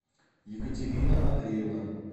екатерина андреевна